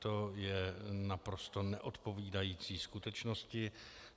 To je naprosto neodpovídající skutečnosti.